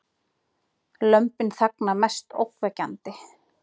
Lömbin þagna mest ógnvekjandi